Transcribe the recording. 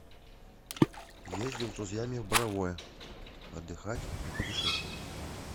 ездил с друзьями в боровое отдыхать и путешествовать